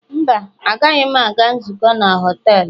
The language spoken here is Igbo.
Mba, agaghị m aga nzukọ na họtelu